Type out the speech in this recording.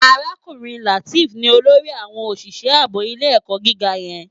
Arákúrin Lateef ni ólórì áwòn ósìsè àbó ilé èkò gigá yèn